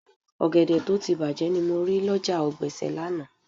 Ọ̀gẹ̀dẹ̀ tó ti bàjé ni mo rí lọ́jà ọ̀gbẹ̀sẹ̀ lánàá